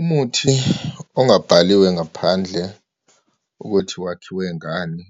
Umuthi ongabhaliwe ngaphandle ukuthi wakhiwe ngani,